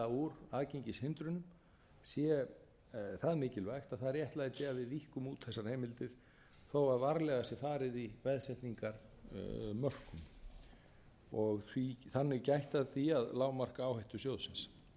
úr aðgengishindrun sé það mikilvægt að það réttlæti að við víkkum út þessar heimildir þó varlega sé farið í veðsetningarmörk og þannig gætt að því að lágmarka áhættu sjóðsins